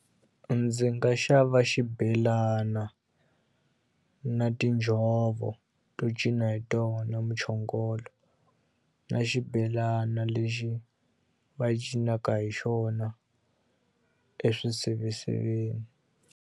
Ndzi nga xava xibelana na tinjhovo to cina hi tona muchongolo na xibelana lexi va cinaka hi xona eswiseveseveni.